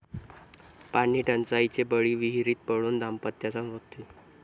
पाणीटंचाईचे बळी, विहिरीत पडून दाम्पत्याचा मृत्यू